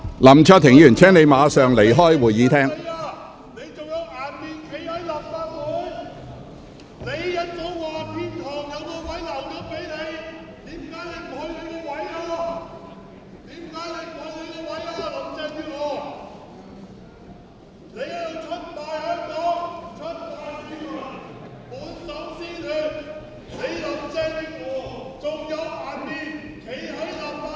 林卓廷議員，請你立即離開會議廳。